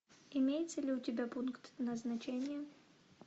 имеется ли у тебя пункт назначения